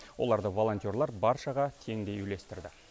оларды волонтерлар баршаға теңдей үлестірді